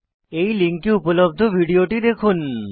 এই লিঙ্কে উপলব্ধ ভিডিওটি দেখুন